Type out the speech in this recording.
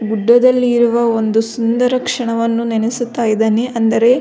ಗುಡ್ಡದಲ್ಲಿ ಇರುವ ಒಂದು ಸುಂದರ ಕ್ಷಣವನ್ನು ನೆನೆಸುತ್ತಾ ಇದ್ದಾನೆ ಅಂದರೆ --